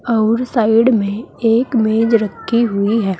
और साइड में एक मेज रखी हुई है।